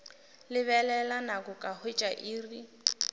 lebelela nako ka hwetša iri